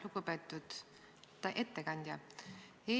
Lugupeetud ettekandja!